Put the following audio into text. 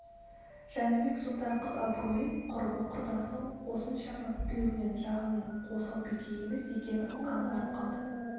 жәнібек сұлтан қыз абыройын құрбы-құрдасының осыншама тілеуінен жағанның осал бике емес екенін аңғарып қалды